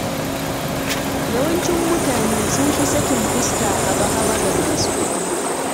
Yawancin mutane sun fi sakin fuska haba-haba ga masu kuɗi